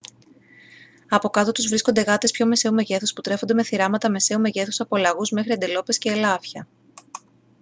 από κάτω τους βρίσκονται γάτες πιο μεσαίου μεγέθους που τρέφονται με θηράματα μεσαίου μεγέθους από λαγούς μέχρι αντιλόπες και ελάφια